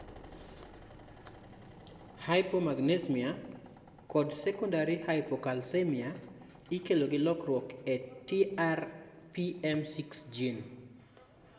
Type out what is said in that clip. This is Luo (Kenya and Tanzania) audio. Hypomagnesemia kod secondary hypocalcemia ikelo gi lokruok e TRPM6 gene